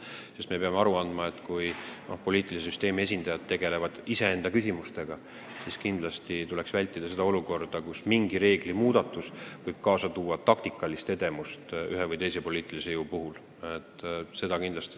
Me peame endale aru andma, et kui poliitilise süsteemi esindajad tegelevad iseenda küsimustega, siis kindlasti tuleks vältida olukorda, kus mingi reegli muutmine võib kaasa tuua ühe või teise poliitilise jõu taktikalise edemuse.